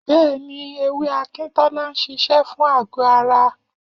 Bẹ́ẹ̀ni, ewé Akintola ń ṣiṣẹ́ fún àgọ́-ara.